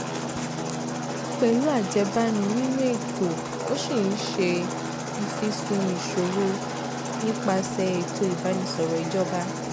pẹ̀lú ajẹ́bánu nínú ètò ó ṣì ń ṣe ìfìsùn ìṣòro nípasẹ̀ ètò ìbánisọ̀rọ̀ ìjọba